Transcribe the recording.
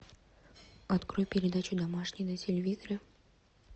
открой передачу домашний на телевизоре